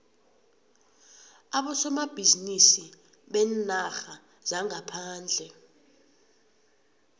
abosomabhizinisi beenarha zangaphandle